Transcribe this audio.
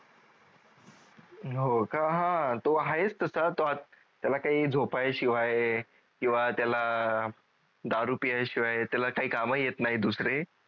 हो का अं तो आहेस तसा त्या काही झोपाय शिवाय किवा त्याला दारू पियाय शिवाय त्याला काही काम येत नाही दुसरे